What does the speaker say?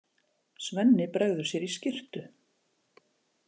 Svenni bregður sér í skyrtu.